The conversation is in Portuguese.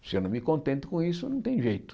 Se eu não me contento com isso, não tem jeito.